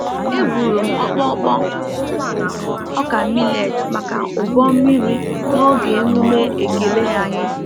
E buru m ọkpọkpọ ọka millet maka ụbọ mmiri n’oge emume ekele anyị.